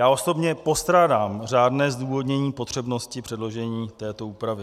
Já osobně postrádám řádné zdůvodnění potřebnosti předložení této úpravy.